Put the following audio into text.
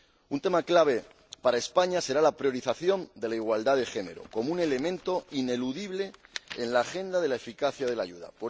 Un tema clave para España será la priorización de la igualdad de género como un elemento ineludible en la agenda para la eficacia de la ayuda.